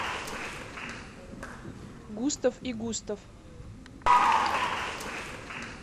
густав и густав